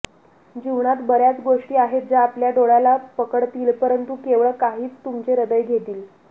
जीवनात बर्याच गोष्टी आहेत ज्या आपल्या डोळ्याला पकडतील परंतु केवळ काहीच तुमचे हृदय घेतील